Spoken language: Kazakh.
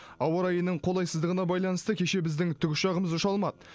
ауа райының қолайсыздығына байланысты кеше біздің тікұшағымыз ұша алмады